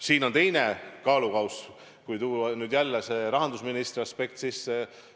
Siin on ka teine kaalukauss, kui tuua jälle see rahandusministri aspekt sisse.